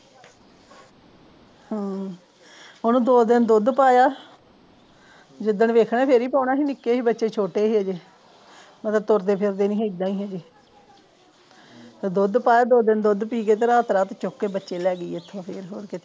ਹਮ ਹੁਣ ਦੋ ਦਿਨ ਦੁੱਧ ਪਾਇਆ ਜਿੱਦਣ ਵੇਖਿਆ ਫਿਰ ਹੀਂ ਪਾਉਣਾ ਸੀ ਨਿੱਕੇ ਜਹੇ ਬੱਚੇ ਛੋਟੇ ਜਿਹੇ ਮਤਲਬ ਤੁਰਦੇ ਫਰਦੇ ਵੀ ਆਹਿਦਾ ਹੀ ਹਜੇ ਦੁੱਧ ਪਾਇਆ ਦੋ ਦਿਨ ਦੁੱਧ ਪੀ ਗਏ ਤੇ ਰਾਤ ਰਾਤ ਚੁੱਕ ਕੇ ਬੱਚੇ ਲੈ ਗਈ ਇੱਥੇ ਫਿਰ ਹੋਰ ਕਿ